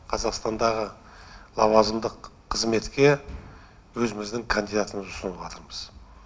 қазақстандағы лауазымдық қызметке өзіміздің кандидатымызды ұсыныватырмыз